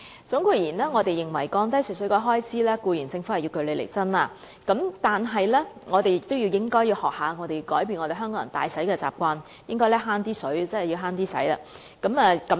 總括而言，我們認為要降低食水開支，政府固然要據理力爭，但我們亦應學習改變香港人揮霍用水的習慣，鼓吹節約用水。